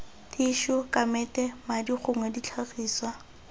thišu kamete madi gongwe ditlhagiswa